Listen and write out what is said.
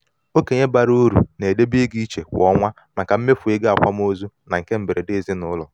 okenye bara uru na-edobe ego iche kwa ọnwa maka mmefu ego akwamozu na nke mberede ezinụlọ